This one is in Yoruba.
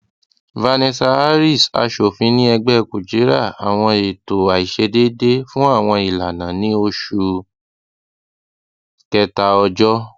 vanessa hariss aṣofin ni ẹgbẹ kujira awọn eto aiṣedede fun awọn ilana ni oṣu kẹta ọjọ